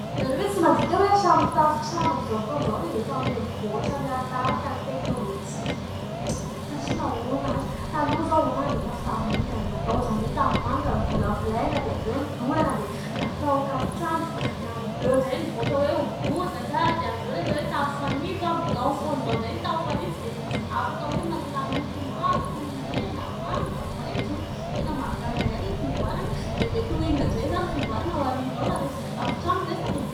Ianareo ve tsy mandinika hoe hatramin'ny tafontrano amin'izao fotoan'izao dia efa mihamivoatra manaraka ny teknolojia satria nahoana ary ? Taloha izao tafo tanimanga ny natao izany hoe tanimanga novolavolaina dia avy eo nodorana dia natao tafontrano dia amin'ny avy eo indray mivoatra hoe ho bozaka dia avy eo indray hoe tafo fanitso. Amin'izao fotoan'izao indray ny tafo fanitso dia afaka hoe manana loko maro toy : ny mena, manga, maitso. Tena mahagaga ihany ilay fivoarana dia mety ho inona indray izany ny fivoarana ao aoriana ao raha resaka tafontrano ny resaka e ?